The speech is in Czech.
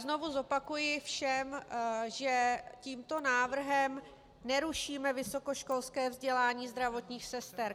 Znovu zopakuji všem, že tímto návrhem nerušíme vysokoškolské vzdělání zdravotních sester.